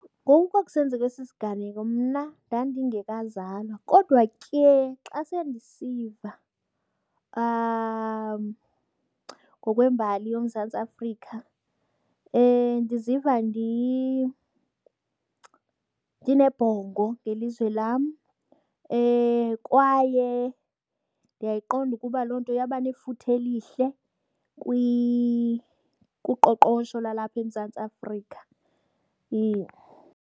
Ngoku kwa kusenzeka esi siganeko mna ndandingekazalwa kodwa ke xa sendisiva ngokwembali yoMzantsi Afrika ndiziva ndinebhongo ngelizwe lam kwaye ndiyayiqonda ukuba loo nto yaba nefuthe elihle kuqoqosho lwalapha eMzantsi Afrika .